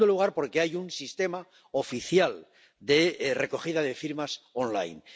En segundo lugar, porque hay un sistema oficial de recogida de firmas en línea.